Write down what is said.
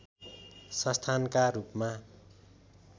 संस्थानका रूपमा